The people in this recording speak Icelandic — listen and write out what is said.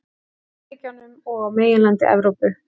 Bandaríkjunum og á meginlandi Evrópu.